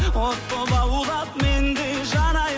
от боп лаулап мен де жанайын